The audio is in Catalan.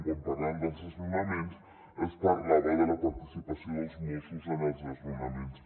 quan parlàvem dels desnonaments es parlava de la participació dels mossos en els desnonaments